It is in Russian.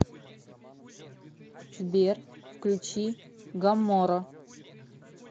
сбер включи гамморо